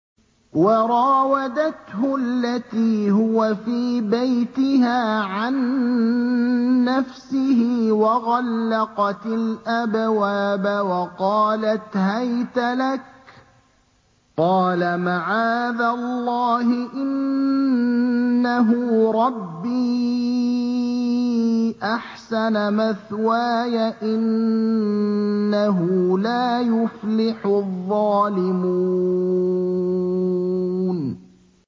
وَرَاوَدَتْهُ الَّتِي هُوَ فِي بَيْتِهَا عَن نَّفْسِهِ وَغَلَّقَتِ الْأَبْوَابَ وَقَالَتْ هَيْتَ لَكَ ۚ قَالَ مَعَاذَ اللَّهِ ۖ إِنَّهُ رَبِّي أَحْسَنَ مَثْوَايَ ۖ إِنَّهُ لَا يُفْلِحُ الظَّالِمُونَ